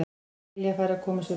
Lilja færi að koma sér út.